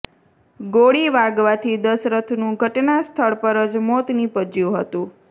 ગોળી વાગવાથી દશરથનું ઘટના સ્થળ પર જ મોત નિપજ્યું હતું